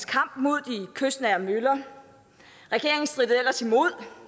kamp mod de kystnære møller regeringen strittede ellers imod